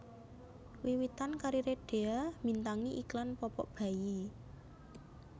Wiwitan kariré Dhea mbintangi iklan popok bayi